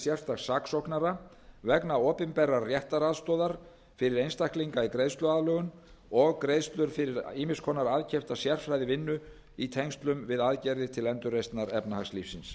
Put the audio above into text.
sérstaks saksóknara vegna opinberrar réttaraðstoðar vegna einstaklinga í greiðsluaðlögun og greiðslur fyrir ýmiss konar aðkeypta sérfræðivinnu í tengslum við aðgerðir til endurreisnar efnahagslífsins